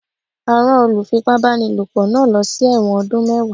A rán olùfipá-báni lòpọ̀ náà lọ sí ẹ̀wọ̀n ọdún mẹ́wàá.